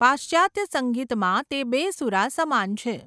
પાશ્ચાત્ય સંગીતમાં, તે બેસૂરા સમાન છે.